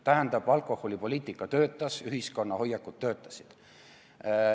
Tähendab, alkoholipoliitika töötas, ühiskonna hoiakud töötasid.